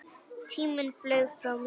Tíminn flaug frá mér.